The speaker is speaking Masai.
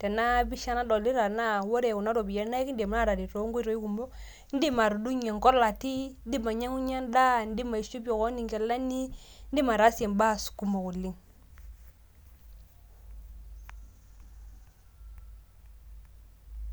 tena pisha nadolita, naa ore Kuna ropiyiani naa ekidim aataret too nkoitoi kumok, idim atudungie inkolati, idim ainyiang'unye edaa ,idim ainyiang'unye nkilani idim ataasie ibaa kumok oleng.